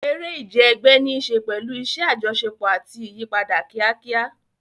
Eré ìje ẹgbẹ́ ní í ṣe pẹ̀lú iṣẹ́ àjọṣepọ̀ àti ìyípadà kíákíá.